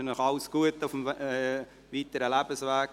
Ich wünsche Ihnen alles Gute für den weiteren Lebensweg.